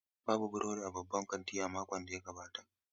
Babu burodi a babban kantin a makon da ya gabata.